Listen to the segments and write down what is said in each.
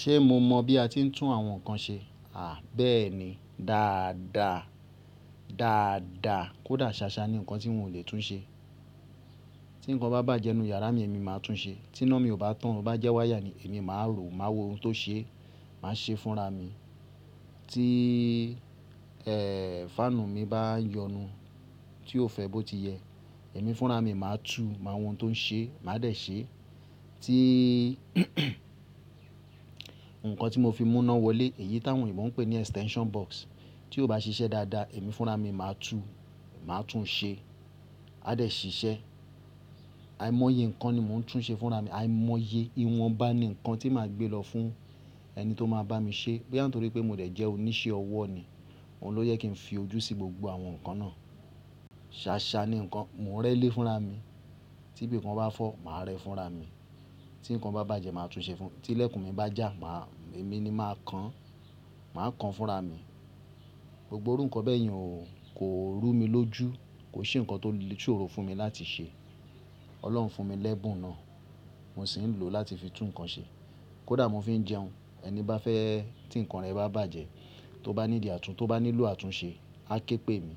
Ṣe mo mọ bi a ti ń tún àwọn nkan ṣe? À bẹẹni dáadáa, dáadáa kódà ṣaṣa ni nkan ti hun ò le tún ṣe. Ti nkan bá bàjẹ́ nínú yàrá mi, èmi máa tún un ṣe. Tiná mi ò bá tàn, o bá jẹ́ wáyà ni èmi máa wò, máa wo ohun tó ṣe, máa ṣe fúnra mi. Ti, fáànù mi bá yọnu, tí ò fẹ́ bó ti yẹ, èmi fúnra mi máa tú, máa wo ohun tó ń ṣe, màá dẹ ṣe. Ti nkan tí mo fi mú iná wọlé, èyí táwọn òyìnbó n pè ní extension box, tí ó bá ṣiṣẹ́ dáadáa, èmi fúnra mi máa tú, máa tún un ṣe, a dẹ ṣiṣẹ́. Ai mọye nkan ni mò ń tún ṣe fúnra mi, ai mọye. Iwonba ni nkan tí màá gbé lọ fún ẹni tó máa bá mi ṣe. Bóyá nítorí pé mó dẹ̀ jẹ́ oníṣẹ́ ọwọ́ ni, òun ló jẹ kí n fi ojú sí gbogbo àwọn nkan náà. Ṣaṣa ni nkan, mò ń rẹ́lé fúnra mi. Ti ibi kan bá fọ́, màá rẹ fúnra mi. Ti nkan bá bàjẹ́, màá tún un ṣe fún-- ti ilẹ̀kùn mi bá jà, màá, èmi ni máa kan, màá kan fúnra mi. Gbogbo irú nkan bẹyẹn ò kò rú mi lójú. Kò sí nkan tó lè ṣòro fún mi láti ṣe. Ọlọ́run fún mi lẹ́bùn náà, mò sì ń lò ó láti fi tún nkan ṣe. Kódà mò fi jẹun. Ẹni bá fẹ́, tí nkan rẹ̀ bá bàjẹ́, tó bá need àtún, tó bá nílò àtúnṣe, á ké pè mi,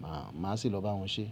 màá, màá sì lọ bá wọn ṣe.